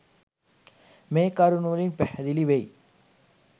මේ කරුණු වලින් පැහැදිලි වෙයි.